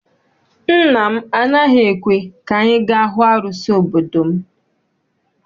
Nna m anaghị ekwe ka anyị ga hụ arụsị obodo m.